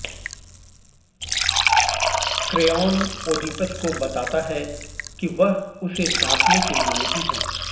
Creon Oedipus को बताता है कि वह उसे डांटने के लिए नहीं है